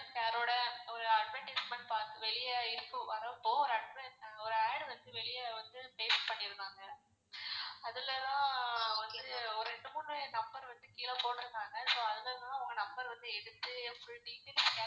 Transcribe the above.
Sir ஓட ஒரு advertisement பாத்தோம் வெளிய வரப்போ ஒரு ad வந்து வெளிய வந்து paste பண்ணிருந்தாங்க அதுல தான் வந்து ஒரு ரெண்டு மூணு number வந்து கீழ போட்டுருந்தாங்க so அதுலதான் உங்க number வந்து எடுத்து full details